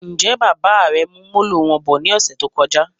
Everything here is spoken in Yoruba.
Njẹ Bàbá rẹ mú Molo wọn bọ̀ ní ọsẹ tó kọjá